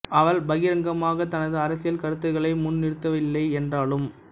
அவர் பகிரங்கமாக தனது அரசியல் கருத்துக்களை முன் நிறுத்தவில்லை என்றாலும்